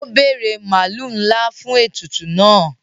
O bere maalu nla fún ètùtù náà.